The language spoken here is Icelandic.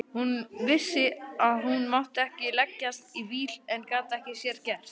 Hún vissi að hún mátti ekki leggjast í víl en gat ekki að sér gert.